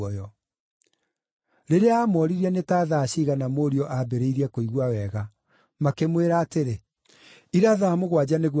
Rĩrĩa aamooririe nĩ ta thaa ciigana mũriũ aambĩrĩirie kũigua wega, makĩmwĩra atĩrĩ, “Ira thaa mũgwanja nĩguo araahonire.”